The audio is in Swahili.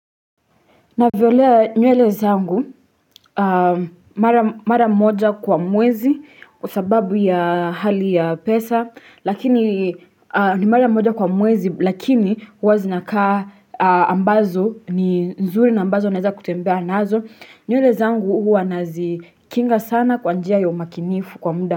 Navyolea nywele zangu mara moja kwa mwezi kwa sababu ya hali ya pesa lakini ni mara moja kwa mwezi lakini huwa zinakaa ambazo ni nzuri na ambazo naeza kutembea nazo. Nywele zangu huwa nazikinga sana kwa njia ya umakinifu kwa muda.